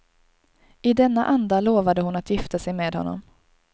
I denna anda lovade hon att gifta sig med honom.